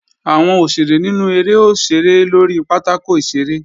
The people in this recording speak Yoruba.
Àwọn òṣèré nínú eré ó ṣeré lórí pátákò ìṣeré